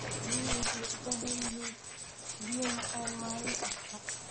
Riyuhu waxay u baahan yihiin biyo macaan maalin kasta.